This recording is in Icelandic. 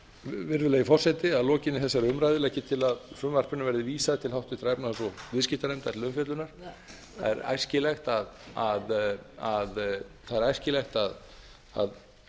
virðulegi forseti að lokinni þessa umræðu legg ég til að frumvarpinu verði vísað til háttvirtrar efnahags og viðskiptanefndar til umfjöllunar það er æskilegt að